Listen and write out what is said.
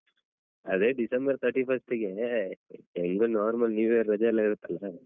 Free ಯಾ ಅದೇ December thirty first ಗೆ ಹೆಂಗು normal new year ರಜೆಯೆಲ್ಲಾ ಇರುತ್ತಲ್ಲಾ.